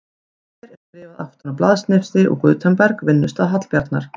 Og hér er skrifað aftan á blaðsnifsi úr Gutenberg, vinnustað Hallbjarnar